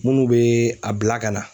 Minnu bɛ a bila ka na.